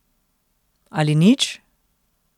Ali nič?